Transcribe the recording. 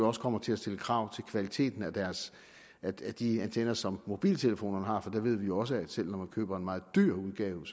også kommer til at stille krav til kvaliteten af de antenner som mobiltelefonerne har for der ved vi også at selv om man køber en meget dyr udgave